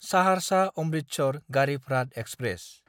Saharsa Amritsar Garib Rath express